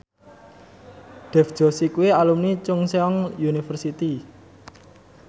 Dev Joshi kuwi alumni Chungceong University